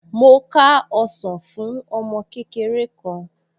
Mo ká ọsàn fún ọmọ kékeré kan